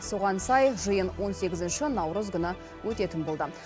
соған сай жиын он сегізінші наурыз күні өтетін болды